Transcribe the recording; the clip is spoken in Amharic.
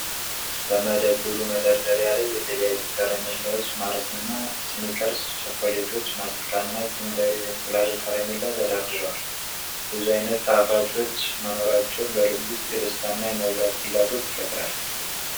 በመደብሩ መደርደሪያ ላይ የተለያዩ ከረሜላዎች፣ ማርስና ስኒከርስ ቸኮሌቶች፣ ማስቲካና ኪንደር የእንቁላል ከረሜላ ተደርድረዋል። ብዙ ዓይነት ጣፋጮች መኖራቸው በልብ ውስጥ የደስታና የመብላት ፍላጎት ይፈጥራል።